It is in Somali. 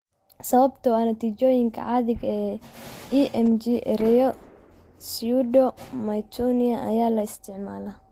Sababtoo ah natiijooyinka caadiga ah ee EMG, ereyga pseudo myotonia ayaa la isticmaalaa.